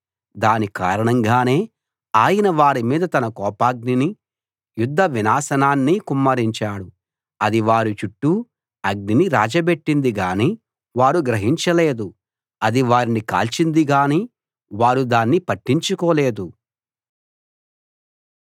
దాని కారణంగానే ఆయన వారిమీద తన కోపాగ్నినీ యుద్ధ వినాశనాన్నీ కుమ్మరించాడు అది వారి చుట్టూ అగ్నిని రాజబెట్టింది గానీ వారు గ్రహించలేదు అది వారిని కాల్చింది గానీ వారు దాన్ని పట్టించుకోలేదు